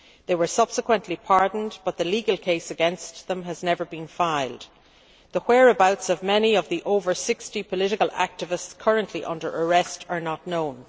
They were subsequently pardoned, but the legal case against them has not been filed. The whereabouts of many of the other 60 political activists currently under arrest is not known.